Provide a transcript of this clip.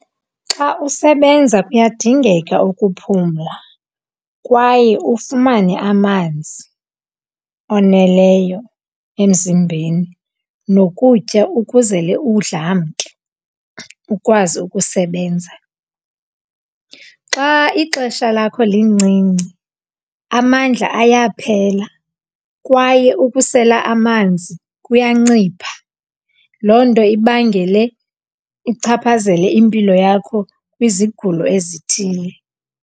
Xa usebenza kuyadingeka ukuphumla kwaye ufumane amanzi oneleyo emzimbeni nokutya ukuzele udlamke ukwazi ukusebenza. Xa ixesha lakho lincinci amandla ayaphela kwaye ukusela amanzi kuyancipha. Loo nto ibangele, ichaphazele impilo yakho kwizigulo ezithile.